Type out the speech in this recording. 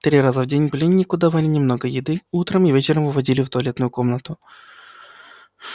три раза в день пленнику давали немного еды утром и вечером выводили в туалетную комнату